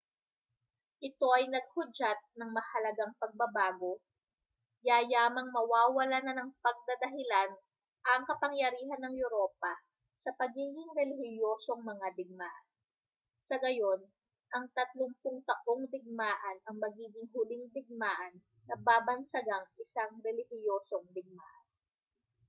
ito ay naghudyat ng mahalagang pagbabago yayamang mawawalan na ng pagdadahilan ang kapangyarihan ng europa sa pagiging relihiyosong mga digmaan sa gayon ang tatlumpung taong digmaan ang magiging huling digmaan na babansagang isang relihiyosong digmaan